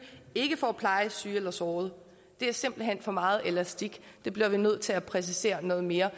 ikke for at pleje syge eller sårede det er simpelt hen for meget elastik det bliver vi nødt til at præcisere noget mere